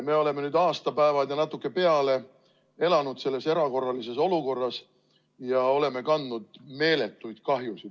Me oleme nüüd aastapäevad ja natuke peale elanud selles erakorralises olukorras ja oleme kandnud meeletuid kahjusid.